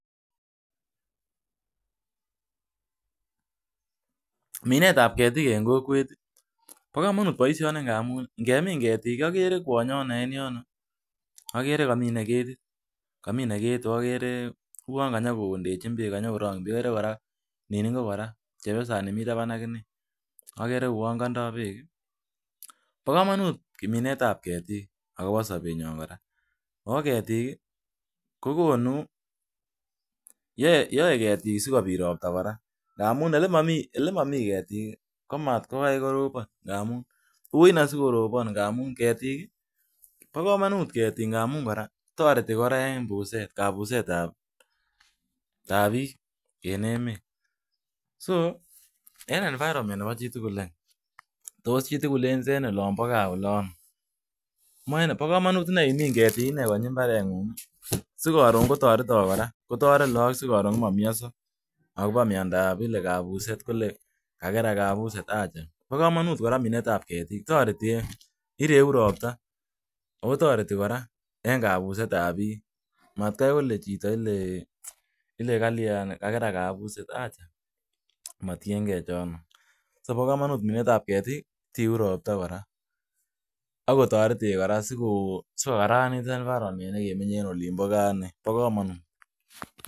Minetab ketik eng kokwet, bo komonut boishoni ngamun ngemin ketik, agere kwonyono eng yon, agere kaminei ketit. Kaminei ketik, uon kanyokondechin kanyokorong'chin beek. Akere kora nin ingo kora chepyosani mi taban agine agere kouon kandoi beek. Bo komonut minetab ketik akobo sobenyo kora ako ketik ko konu, yoei ketik sikobit ropta kora. Ngamun ole momi ketik kotkokai koropon , ngamun ui ine sikoropon. ngamun ketik, bokomout ketik toreti kora en kapusetab bik en emet .So en environment nebo chitugul any, tos chitugul en olon bo gaa olon , bo komonut ine imin ketik konyi mbareng'ung si karon kotoretok kora. Kotoret lagok si karon komamianso akobo miandop ile kapuset kole kakerak kapuset. Acha. Bo komonut ine minetab ketik , toreti ireu ropta ako toreti kora eng kapuseta pik. Matkai kole chito kalian, kakerak kapuset acha motiengei chono.so bo komanut ine minetab ketik tiu ropta kora sikotoretech en environment nebo gaa.